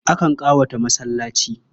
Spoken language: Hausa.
Akan ƙawata masallaci.